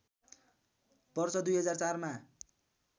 वर्ष २००४ मा